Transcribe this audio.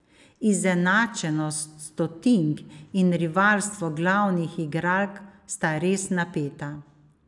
Izenačenost stotink in rivalstvo glavnih igralk sta res napeta.